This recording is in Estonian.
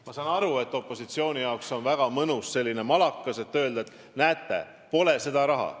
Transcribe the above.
Ma saan aru, et opositsiooni jaoks on see malakas väga mõnus kasutada: öelda, et näete, pole seda raha.